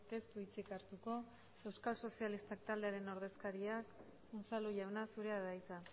ez du hitzik hartuko euskal sozialistak taldearen ordezkariak unzalu jauna zurea da hitza